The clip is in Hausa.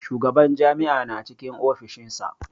Shugaban jami'a na cikin ofishinsa.